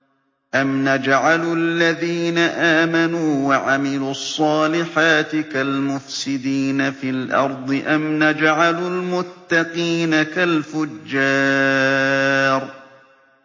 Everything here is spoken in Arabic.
أَمْ نَجْعَلُ الَّذِينَ آمَنُوا وَعَمِلُوا الصَّالِحَاتِ كَالْمُفْسِدِينَ فِي الْأَرْضِ أَمْ نَجْعَلُ الْمُتَّقِينَ كَالْفُجَّارِ